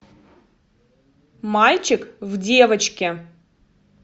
мальчик в девочке